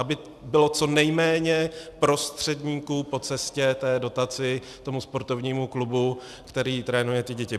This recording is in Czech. Aby bylo co nejméně prostředníků po cestě k dotaci tomu sportovnímu klubu, který trénuje ty děti.